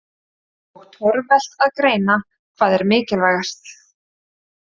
Og torvelt að greina hvað er mikilvægast.